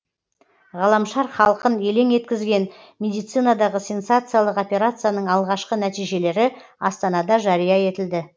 ғаламшар халқын елең еткізген медицинадағы сенсациялық операцияның алғашқы нәтижелері астанада жария етілді